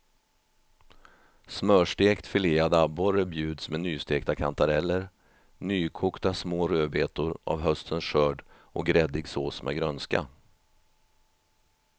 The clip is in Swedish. Smörstekt filead abborre bjuds med nystekta kantareller, nykokta små rödbetor av höstens skörd och gräddig sås med grönska.